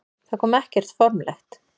Það kom ekkert formlegt.